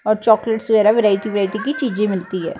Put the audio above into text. ਔਰ ਚਾਕਲੇਟ ਵਗੈਰਾ variety variety ਕੀ ਚੀਜ਼ੇ ਮਿਲਤੀ ਹੈ।